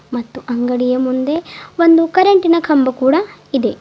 ಮತ್ತು ಅಂಗಡಿಯ ಮುಂದೆ ಒಂದು ಕರೆಂಟಿ ನ ಕಂಬ ಕೂಡ ಇದೆ.